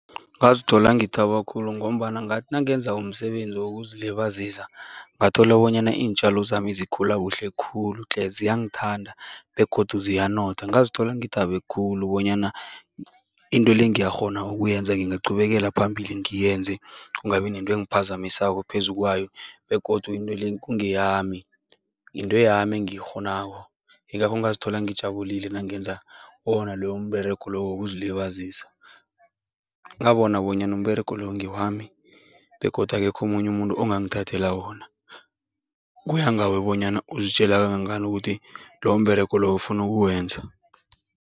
Ngazithola ngithaba khulu ngombana ngathi nangenza umsebenzi wokuzilibazisa, ngathola bonyana iintjalo zami zikhula kuhle khulu tle, ziyangithanda begodu ziyanotha. Ngazithola ngithabe khulu bonyana into le ngiyakghona ukuyenza, ngingaqhubekele phambili ngiyenze, kungabi nento engiphazamisako phezu kwayo begodu into le kungeyami, yinto yami engiyikghonako, yingakho ngazithola ngijabulile nangenza wona loyo mberego loyo wokuzilibazisa. Ngabona bonyana umberego loyo ngewami begodu akekho omunye umuntu ongangithathela wona, kuya ngawe bonyana uzitjela kangangani ukuthi loyo mberego loyo ufuna ukuwenza.